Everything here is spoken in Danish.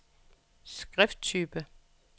skrifttype